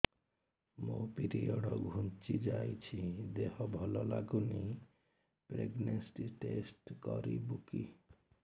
ମୋ ପିରିଅଡ଼ ଘୁଞ୍ଚି ଯାଇଛି ଦେହ ଭଲ ଲାଗୁନି ପ୍ରେଗ୍ନନ୍ସି ଟେଷ୍ଟ କରିବୁ କି